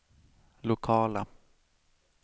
lokala